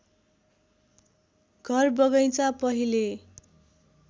घर बगैँचा पहिले